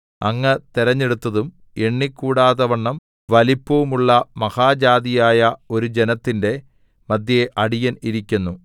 അങ്ങ് തെരഞ്ഞെടുത്തതും എണ്ണിക്കൂടാതവണ്ണം വലിപ്പവും ഉള്ള മഹാജാതിയായ ഒരു ജനത്തിന്റെ മദ്ധ്യേ അടിയൻ ഇരിക്കുന്നു